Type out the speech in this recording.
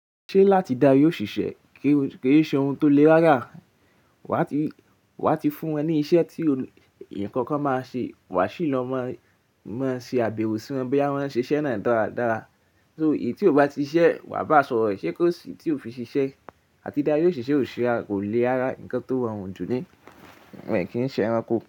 Ṣé láti da yioṣiṣẹ kí, kí o ṣe ohun tó le rárá, wá ti, wá ti fún wọn ní iṣẹ́ ti ohun, ǹkan kan má ṣe, wá sì lọ má, má ṣe àbẹ̀wò sí wọn, bí wọ́n ṣe iṣẹ́ náà dára dára. So èyí tí ó bá ti ṣiṣẹ́, wá bá sọ̀rọ̀, ṣé kò sí tí ó fi ṣiṣẹ́, àti darí òṣìṣẹ́ ó sì a kò le rárá ǹkan tó rọrùn jù ni, ẹ kì n ṣe ẹranko.